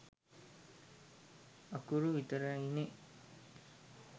අකුරු විතරයිනේ.